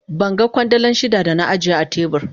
Ban gan Kwandala shida da na ajiye a tebur.